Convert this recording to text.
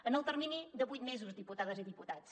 en el termini de vuit mesos diputades i diputats